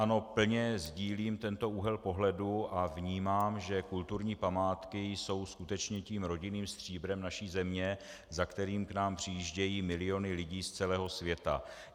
Ano, plně sídlím tento úhel pohledu a vnímám, že kulturní památky jsou skutečně tím rodinným stříbrem naší země, za kterým k nám přijíždějí miliony lidí z celého světa.